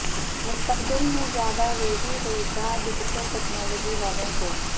مستقبل میں زیادہ روزی روزگار ڈیجیٹل ٹیکنالوجی والوں کو